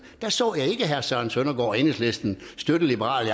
der så jeg ikke herre søren søndergaard og enhedslisten støtte liberal